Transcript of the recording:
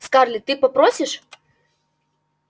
скарлетт ты попросишь